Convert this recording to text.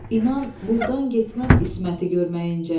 İnan burdan getməm İsməti görməyincə.